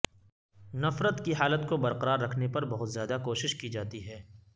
نفرت کی حالت کو برقرار رکھنے پر بہت زیادہ کوشش کی جاتی ہے